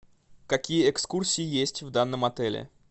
какие экскурсии есть в данном отеле